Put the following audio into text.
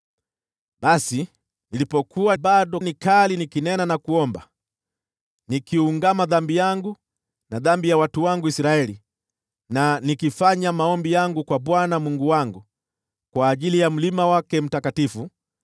Basi, nilipokuwa bado nikinena na kuomba, nikiungama dhambi yangu na dhambi ya watu wangu Israeli, na nikifanya maombi yangu kwa Bwana Mungu wangu kwa ajili ya mlima wake mtakatifu,